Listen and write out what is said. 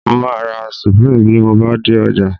Mo máa ra Supreme bí mo bá dé ọjà